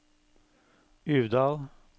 Uvdal